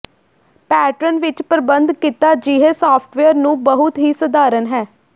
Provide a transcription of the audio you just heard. pattern ਵਿੱਚ ਪ੍ਰਬੰਧ ਕੀਤਾ ਅਜਿਹੇ ਸਾਫਟਵੇਅਰ ਨੂੰ ਬਹੁਤ ਹੀ ਸਧਾਰਨ ਹੈ